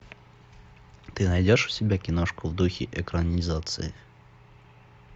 ты найдешь у себя киношку в духе экранизации